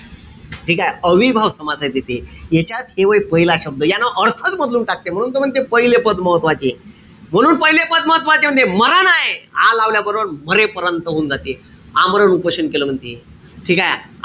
ठीकेय? अव्ययीभाव समासात येते. यांच्यात हे व्हय पहिला शब्द. अर्थच बदलून टाकते. म्हणून त म्हणते पाहिलं पद महत्वाचे. म्हणून पाहिलं पद महत्वाचे म्हणते. मरण हाये, आ लावल्याबरोबर मरेपर्यंत हुन जाते. आमरण उपोषण केलं म्हणते. ठीकेय?